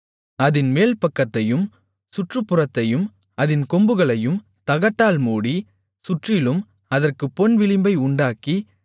அதின் மேல்பக்கத்தையும் சுற்றுப்புறத்தையும் அதின் கொம்புகளையும் தகட்டால் மூடி சுற்றிலும் அதற்குப் பொன்விளிம்பை உண்டாக்கி